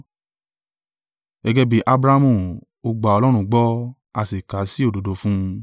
Gẹ́gẹ́ bí Abrahamu “Ó gba Ọlọ́run gbọ́, a sì kà á sí òdodo fún un.”